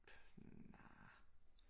Nej